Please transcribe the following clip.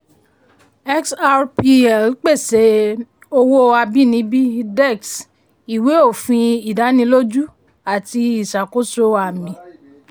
xrpl pèsè owó abínibí dex ìwé òfin ìdánilójú àti ìṣàkóso àmì.